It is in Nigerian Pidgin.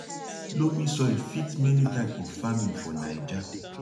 loamy soil fit many type of farming for nija